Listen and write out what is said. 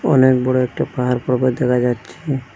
অনেক বড়ো একটা পাহাড় পর্বত দেখা যাচ্ছে।